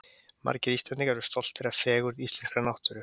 Margir Íslendingar eru stoltir af fegurð íslenskrar náttúru.